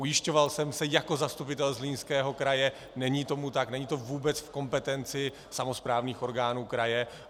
Ujišťoval jsem se jako zastupitel Zlínského kraje - není tomu tak, není to vůbec v kompetenci samosprávných orgánů kraje.